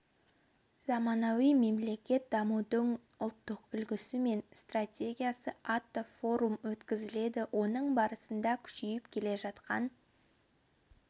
заманауи мемлекет дамудың ұлттық үлгісі мен стратегиясы атты форум өткізеді оның барысында күшейіп келе жатқан